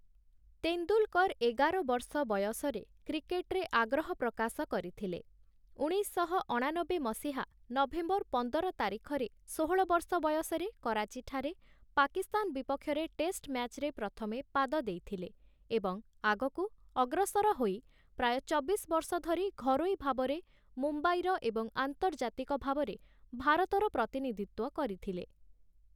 ତେନ୍ଦୁଲ୍‌କର୍‌ ଏଗାର ବର୍ଷ ବୟସରେ କ୍ରିକେଟ୍‌ରେ ଆଗ୍ରହ ପ୍ରକାଶ କରିଥିଲେ, ଉଣେଇଶଶହ ଅଣାନବେ ମସିହା ନଭେମ୍ବର ପନ୍ଦର ତାରିଖରେ ଷୋହଳ ବର୍ଷ ବୟସରେ କରାଚିଠାରେ ପାକିସ୍ତାନ ବିପକ୍ଷରେ ଟେଷ୍ଟ୍‌ ମ୍ୟାଚ୍‌ରେ ପ୍ରଥମେ ପାଦ ଦେଇଥିଲେ ଏବଂ ଆଗକୁ ଅଗ୍ରସର ହୋଇ, ପ୍ରାୟ ଚବିଶ ବର୍ଷ ଧରି, ଘରୋଇ ଭାବରେ ମୁମ୍ବାଇର ଏବଂ ଆନ୍ତର୍ଜାତିକ ଭାବରେ ଭାରତର ପ୍ରତିନିଧିତ୍ଵ କରିଥିଲେ ।